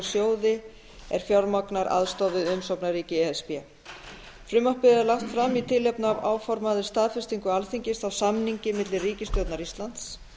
sjóði er fjármagnar aðstoð við umsóknarríki e s b frumvarpið er lagt fram í tilefni af áformaðri staðfestingu alþingis á samningi milli ríkisstjórnar íslands